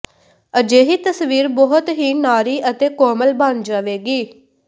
ਅਜਿਹੀ ਤਸਵੀਰ ਬਹੁਤ ਹੀ ਨਾਰੀ ਅਤੇ ਕੋਮਲ ਬਣ ਜਾਵੇਗੀ